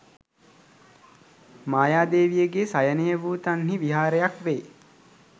මායාදේවියගේ සයනය වූ තන්හි විහාරයක් වේ.